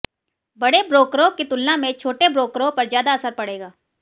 बड़े ब्रोकरों की तुलना में छोटे ब्रोकरों पर ज्यादा असर पड़ेगा